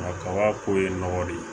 Nka kabako ye nɔgɔ de ye